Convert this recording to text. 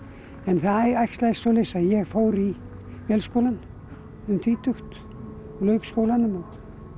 það æxlaðist svoleiðis að ég fór í Vélskólann um tvítugt lauk skólanum